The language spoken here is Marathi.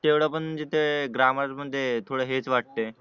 तेवढं पण म्हणजे ते ग्रामर म्हणजे थोडं हेच वाटते